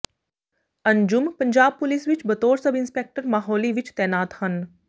Anjum Punjab police ਵਿੱਚ ਬਤੌਰ sub inspector Mohali ਵਿੱਚ ਤੈਨਾਤ ਹਨ